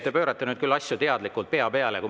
Te pöörate nüüd küll asju teadlikult pea peale.